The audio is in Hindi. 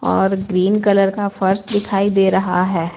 और ग्रीन कलर का फर्स्ट दिखाई दे रहा है।